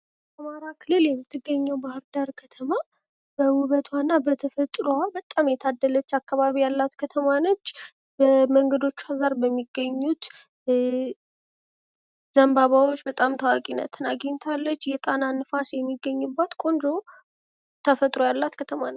በአማራ ክልል የምትገኘው ባህር ዳር ከተማ በውበቷ የምትታወቅ መንገዶቿ ዳር በሚገኙት ዘንባባዎቿ በጣም ታዋቂ ናት።